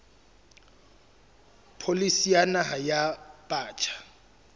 pholisi ya naha ya batjha